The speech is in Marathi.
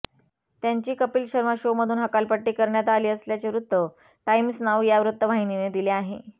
त्यांची कपिल शर्मा शोमधून हकालपट्टी करण्यात आली असल्याचे वृत्त टाइम्स नाऊ या वृत्तवाहिनीने दिले आहे